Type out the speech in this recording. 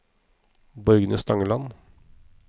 Borgny Stangeland